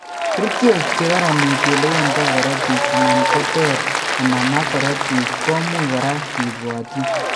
Kerchek che karaniti ole wendo korotiik anan ko ter konomak korotiik ko much kora ke bwatyin.